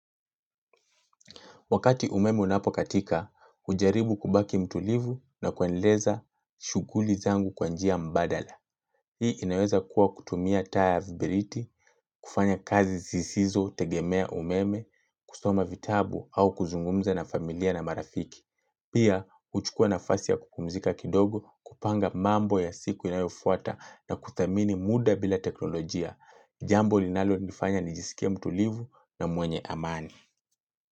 Wakati umeme unapokatika, hujaribu kubaki mtulivu na kuendeleza shughuli zangu kwa njia mbadala. Hii inaweza kuwa kutumia tas ya vibiriti, kufanya kazi zisizo tegemea umeme, kusoma vitabu au kuzungumza na familia na marafiki. Pia, huchukua nafasi ya kupumzika kidogo kupanga mambo ya siku inayofuata na kuthamini muda bila teknolojia. Jambo linalonifanya nijisikia mtulivu na mwenye amani.